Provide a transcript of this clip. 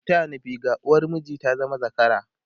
ku taya ni figa! uwar miji ta zama zakara!